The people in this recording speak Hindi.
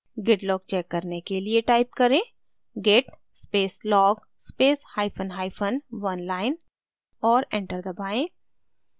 git log check करने के लिए type करें git space log space hyphen hyphen oneline और enter दबाएँ